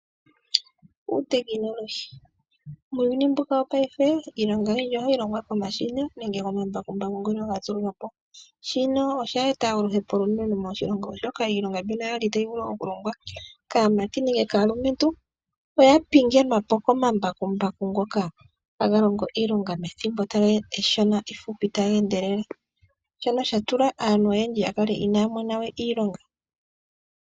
Uungomba. Muuyuni mbuka wopaife iilonga oyindji ahayi longwa komashina nenge komambakumbaku ngono gatulwapo. Shino osha eta oluhepo olunene moshilongo oshoka iilonga mbino yali tayi vulu oku longwa kaamati nenge kaalumentu oya pingenwapo komambakumbaku ngoka haga longo iilonga methimbo efupi taga endelele, shono shatula aantu oyendji yakale inaya monawe iilonga.